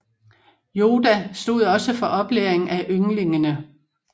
Yoda stod også for oplæringen af yngligene